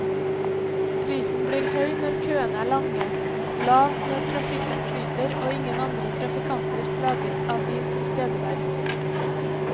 Prisen blir høy når køene er lange, lav når trafikken flyter og ingen andre trafikanter plages av din tilstedeværelse.